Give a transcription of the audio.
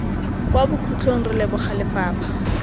kwa bokhutlong re leboga lefapha